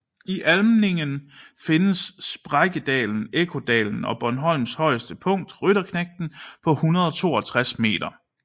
I Almindingen findes sprækkedalen Ekkodalen og Bornholms højeste punkt Rytterknægten på 162 m